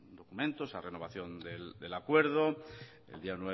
documento esa renovación del acuerdo el día